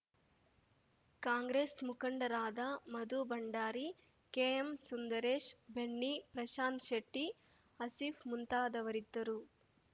ಕಾಂಗ್ರೆಸ್‌ ಮುಖಂಡರಾದ ಮಧು ಭಂಡಾರಿ ಕೆಎಂ ಸುಂದರೇಶ್‌ ಬೆನ್ನಿ ಪ್ರಶಾಂತ್ ಶೆಟ್ಟಿ ಆಸೀಫ್‌ ಮುಂತಾದವರಿದ್ದರು